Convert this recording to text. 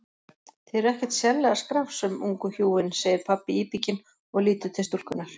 Þið eruð ekkert sérlega skrafsöm, ungu hjúin, segir pabbi íbygginn og lítur til stúlkunnar.